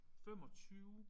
25